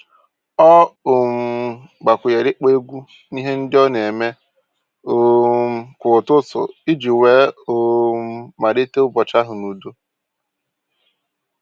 Ọ um gbakwunyere ịkpọ egwu n'ihe ndị ọ na-eme um kwa ụtụtụ iji wee um malite ụbọchị ahụ n'udo.